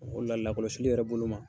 O le la lakɔlɔsili yɛrɛ bolo ma.